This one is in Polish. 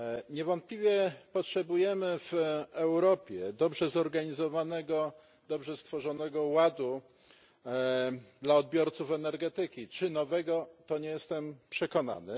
Niewątpliwie potrzebujemy w Europie dobrze zorganizowanego, dobrze stworzonego ładu dla odbiorców energetyki czy nowego, to nie jestem przekonany.